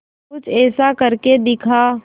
कुछ ऐसा करके दिखा